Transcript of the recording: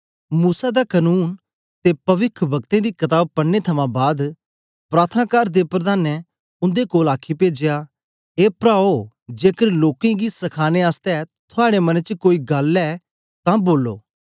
मूसा दा कनून ते पविखवक्तें दी कताब पढ़ने थमां बाद प्रार्थनाकार दे प्रधानें उन्दे कोल आखी पेजया ए प्राओ जेकर लोकें गी सखाने आसतै थुआड़े मने च कोई गल्ल ऐ तां बोलो